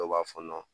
Dɔw b'a fɔ